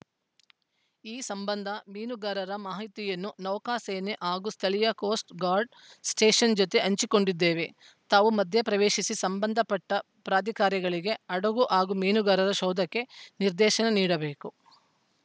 ಈ ಸಂಬಂಧ ಮೀನುಗಾರರ ಮಾಹಿತಿಯನ್ನು ನೌಕಾ ಸೇನೆ ಹಾಗೂ ಸ್ಥಳೀಯ ಕೋಸ್ಟ‌ ಗಾರ್ಡ್‌ ಸ್ಟೇಷನ್‌ ಜತೆ ಹಂಚಿಕೊಂಡಿದ್ದೇವೆ ತಾವು ಮಧ್ಯಪ್ರವೇಶಿಸಿ ಸಂಬಂಧಪಟ್ಟಪ್ರಾಧಿಕಾರಗಳಿಗೆ ಹಡಗು ಹಾಗೂ ಮೀನುಗಾರರ ಶೋಧಕ್ಕೆ ನಿರ್ದೇಶನ ನೀಡಬೇಕು